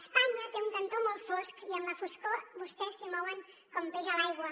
espanya té un cantó molt fosc i en la foscor vostès s’hi mouen com peix a l’aigua